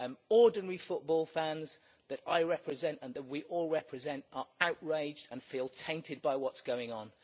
Ordinary football fans that I represent and that we all represent are outraged and feel tainted by what is going on.